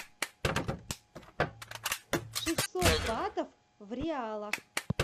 шестьсот батов в реалах